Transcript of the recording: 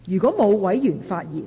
是否有委員想發言？